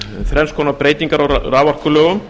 þrenns konar breytingar á raforkulögum